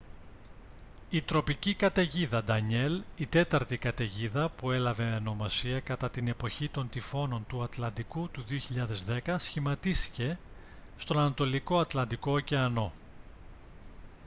η τροπική καταιγίδα ντανιέλ η τέταρτη καταιγίδα που έλαβε ονομασία κατά την εποχή των τυφώνων του ατλαντικού του 2010 σχηματίστηκε στον ανατολικό ατλαντικό ωκεανό